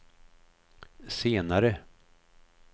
senare